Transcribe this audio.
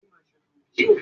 Bẹ́ẹ̀ni, yóò di dókítà